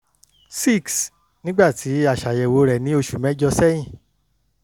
6 nígbà tí a ṣàyẹ̀wò rẹ̀ ní oṣù mẹ́jọ̀ sẹ́yìn